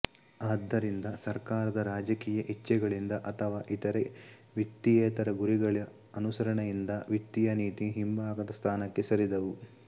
ಆದ್ದರಿಂದ ಸರ್ಕಾರದ ರಾಜಕೀಯ ಇಚ್ಛೆಗಳಿಂದ ಅಥವಾ ಇತರೆ ವಿತ್ತೀಯೇತರ ಗುರಿಗಳ ಅನುಸರಣೆಯಿಂದ ವಿತ್ತೀಯ ನೀತಿ ಹಿಂಭಾಗದ ಸ್ಥಾನಕ್ಕೆ ಸರಿದವು